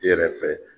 I yɛrɛ fɛ